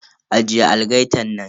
Ajiye algaitan nan.